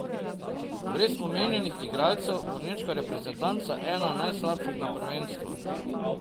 Brez omenjenih igralcev bo nemška reprezentanca ena najslabših na prvenstvu.